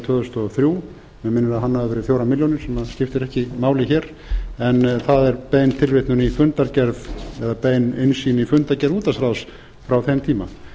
tvö þúsund og þrjú mig minnir að hann hafi verið fjórar milljónir sem skiptir ekki máli hér en það er bein tilvitnun í fundargerð eða bein innsýn í fundargerð útvarpsráðs frá þeim tíma